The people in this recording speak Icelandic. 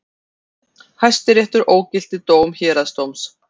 Hæstiréttur ógilti dóm héraðsdóms